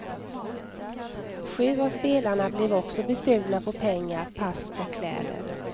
Sju av spelarna blev också bestulna på pengar, pass och kläder.